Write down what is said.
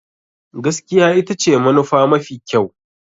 Gaskiya ita ce manufa mafi kyau.